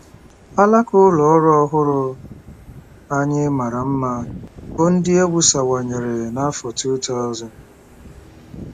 Alaka ụlọ ọrụ ọhụrụ anyị mara mma, bụ́ ndị e wusawanyere n’afọ 2000